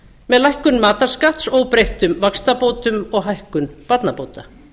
með lækkun matarskatts óbreyttum vaxtabótum og hækkun barnabóta